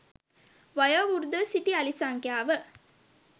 වයෝවෘද්ධව සිටි අලි සංඛ්‍යාව